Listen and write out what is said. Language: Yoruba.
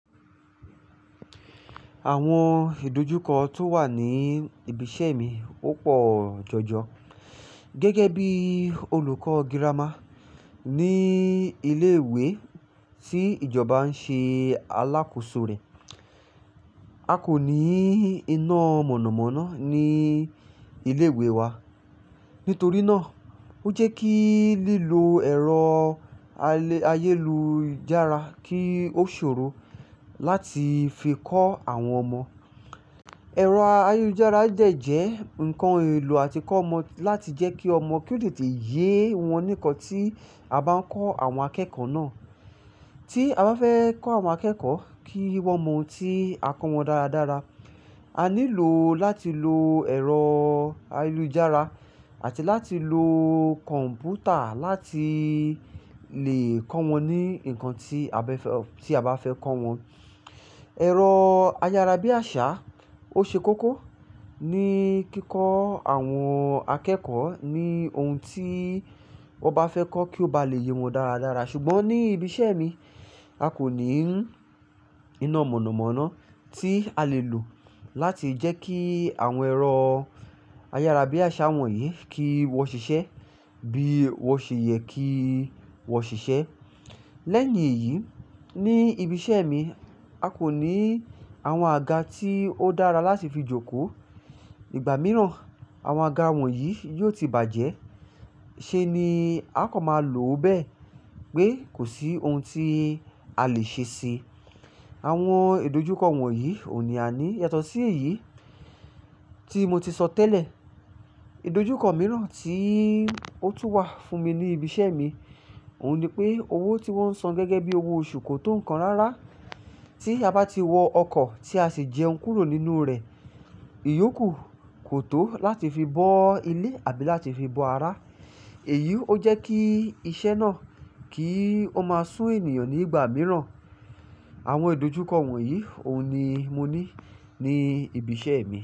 Àwọn ìdojúkọ tó wà ní ibi iṣẹ́ mi ó pọ̀ jọjọ gẹ́gẹ́ bí olùkọ́ girama ní ilé ìwé tí ìjọba ń ṣe alákòóso rẹ̀. A kò ní iná mọ̀nàmọ́ná ní ilé ìwé wa. Nítorí náà ó jẹ́ kí lílò ẹ̀rọ ayélujára kí ó ṣòro láti fi kọ́ àwọn ọmọ. Ẹ̀rọ ayélujára jẹ́ ǹkan èlò àti kọ́ ọmọ láti jẹ́ kí ọmọ kí ó lè tì yé wọn ní nkán tí a bá ń kọ́ àwọn akẹ́kọ̀ọ́ náà. Tí a bá fẹ́ kọ́ àwọn akẹ́kọ̀ọ́ kí wọ́n mọ ohun tí a kọ́ wọn dáradára, a nílò láti lo ẹ̀rọ ayélujára àti láti lo kọ̀m̀pútà láti lè kọ́ wọn ní ǹkan tí a bá fẹ́ kọ́ wọn. Ẹ̀rọ ayárabíàṣá ó ṣe kókó ní kíkọ́ àwọn akẹ́kọ̀ọ́ ní ohun tí wọ́n bá fẹ́ kọ́ kí ó bá lè yé wọn dáradára. Ṣùgbọ́n ní ibi iṣẹ́ mi, a kò ní iná mọ̀nàmọ́ná tí a lè lò láti jẹ́ kí àwọn ẹ̀rọ ayárabíàṣá wọ̀nyí kí wọ́n ṣiṣẹ́ bí wọ́n ṣe yẹ kí wọ́n ṣiṣẹ́. Lẹ́yìn èyí, ní ibi iṣẹ́ mi, a kò ní àwọn àga tí ó dára láti fi jókòó. Igbà mìíràn àwọn àga wọ̀nyí yóò ti bàjẹ́ ṣe ni a kò mọ máa lò ó bẹ́ẹ̀ pé kò sí ohun tí a lè ṣe síi. Àwọn ìdojúkọ wọ̀nyí oun ni a ní. Yàtọ̀ sí èyí tí mo ti sọ tẹ́lẹ̀, ìdojúkọ mìíràn tí ó tún wà fún mi ní ibi iṣẹ́ mi òun ni pé owó tí wọ́n ń san gẹ́gẹ́ bí owó oṣù kò tó ǹkan rárá tí a bá ti wọ ọkọ̀ tí a sì jẹun kúrò nínú rẹ̀. Iyọ̀ kú kò tó láti fi bọ́ ilé àbí láti fi bọ ara. Èyí ó jẹ́ kí iṣẹ́ náà kì í ó máa sú ènìyàn ní ìgbà mìíràn. Àwọn ìdojúkọ wọ̀nyí òun ni mo ní ní ibi iṣẹ́ mi.